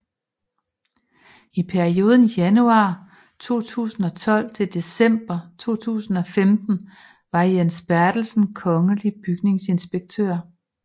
I perioden januar 2012 til december 2015 var Jens Bertelsen kongelig bygningsinspektør